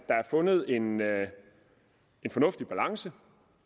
fundet en fornuftig balance